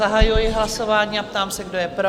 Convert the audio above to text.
Zahajuji hlasování a ptám se, kdo je pro?